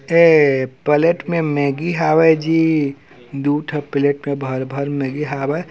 ऐ प्लेट में मेगी होवे जी दु ठक प्लेट में भर भर मेगी होवे।